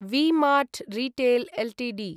V mart retail Ltd